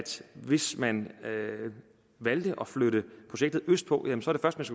hvis man valgte at flytte projektet østpå